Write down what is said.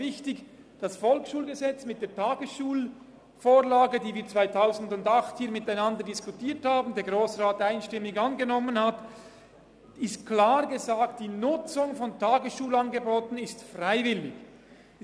Das Volksschulgesetz (VSG) mit der Tagesschulvorlage, die wir 2008 hier miteinander diskutiert haben und die der Grosse Rat einstimmig angenommen hat, hat klar gesagt, dass die Nutzung von Tagesschulangeboten freiwillig ist.